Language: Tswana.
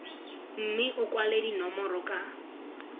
mme o kwale dinomoro ka